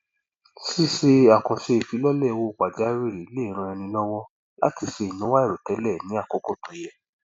ṣíṣe àkànṣe ìfilọlẹ owó pajawìrì le ràn ẹni lọwọ láti ṣe ináwó àìròtẹlẹ ní àkókò tó yẹ